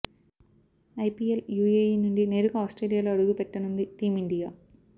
IPL UAE నుండి నేరుగా ఆస్ట్రేలియాలో అడుగుపెట్టనుంది టీమ్ ఇండియా